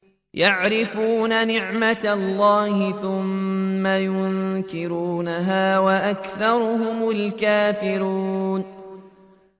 يَعْرِفُونَ نِعْمَتَ اللَّهِ ثُمَّ يُنكِرُونَهَا وَأَكْثَرُهُمُ الْكَافِرُونَ